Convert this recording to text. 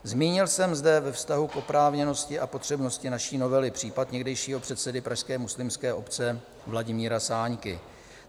Zmínil jsem zde ve vztahu k oprávněnosti a potřebnosti naší novely případ někdejšího předsedy pražské muslimské obce Vladimíra Sáňky.